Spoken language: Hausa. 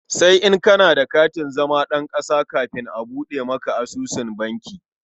Sai in kana da katin zama ɗan ƙasa kafin a buɗe maka asusun banki.